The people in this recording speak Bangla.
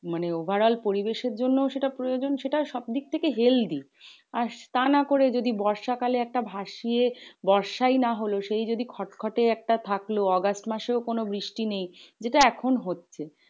মানে overall পরিবেশের জন্যও সেটা প্রয়োজন। সেটা সব দিক থেকে healthy আর তা না করে যদি বর্ষাকালে একটা ভাসিয়ে বর্ষাই না হলো. সেই যদি খট খট একটা থাকলো আগস্ট মাসেও কোনো বৃষ্টি নেই, যেটা এখন হচ্ছে